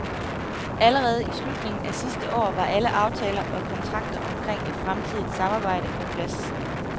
Allerede i slutningen af sidste år var alle aftaler og kontrakter omkring et fremtidigt samarbejde på plads.